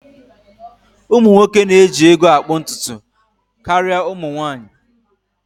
Ụmụ nwoke na-eji ego akpụ ntutu karịa ụmụ nwanyị